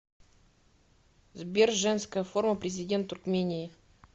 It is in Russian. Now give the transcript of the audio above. сбер женская форма президент туркмении